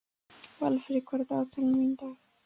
Valfríður, hvað er í dagatalinu mínu í dag?